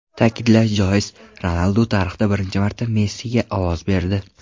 Ta’kidlash joiz, Ronaldu tarixda birinchi marta Messiga ovoz berdi.